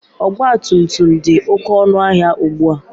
Ọgbatumtum dị oke ọnụ ahịa ugbua.